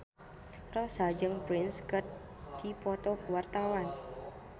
Rossa jeung Prince keur dipoto ku wartawan